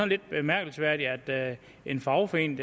lidt bemærkelsesværdigt at en fagforening